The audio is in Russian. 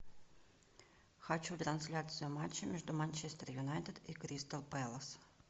хочу трансляцию матча между манчестер юнайтед и кристал пэлас